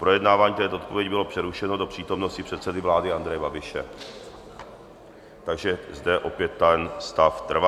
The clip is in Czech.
Projednávání této odpovědi bylo přerušeno do přítomnosti předsedy vlády Andreje Babiše, takže zde opět ten stav trvá.